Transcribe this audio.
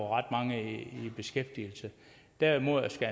ret mange i beskæftigelse derimod skal